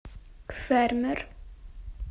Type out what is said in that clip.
фермер